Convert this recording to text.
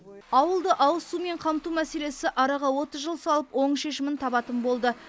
ауылды ауызсумен қамту мәселесі араға отыз жыл салып оң шешімін табатын болды